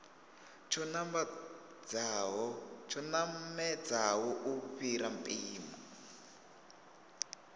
tsho namedzaho u fhira mpimo